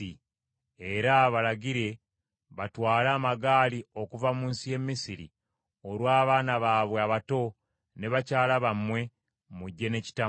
“Era balagire batwale amagaali okuva mu nsi y’e Misiri olw’abaana baabwe abato ne bakyala bammwe, mujje ne kitammwe.